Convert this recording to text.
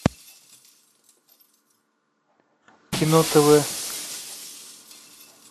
кино тв